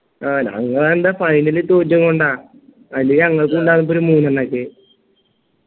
ആ ഞങ്ങളെന്താ finally ല് തോറ്റെങ്ങോണ്ട അല്ലെങ്കി ഞങ്ങൾക്കും ഇണ്ടാകും ഇപ്പൊ ഒരു മൂന്നെണ്ണംക്കെ